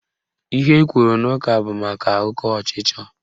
Ihe ekwuru n'ụka bụ maka oke ọchịchọ